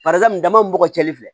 Barisa min da man ka cɛnni fɛ